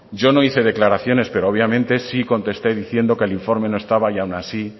yo no hice declaraciones pero obviamente sí contesté diciendo que el informe no estaba y aun así